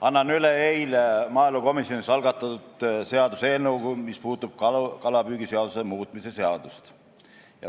Annan üle eile maaelukomisjonis algatatud seaduseelnõu, mis puudutab kalapüügiseaduse muutmise seadust.